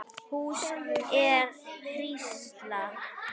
Hún er hrísla.